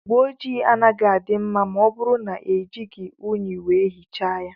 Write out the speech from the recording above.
Ụgbọ ojii anaghị adị mma ma ọ bụrụ na ejighi ụnyi wee hichaa ya.